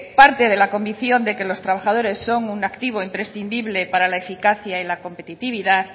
parte de la convicción de que los trabajadores son un activo imprescindible para la eficacia y la competitividad